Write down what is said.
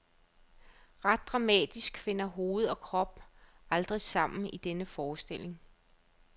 Rent dramatisk finder hoved og krop aldrig sammen i denne forestilling.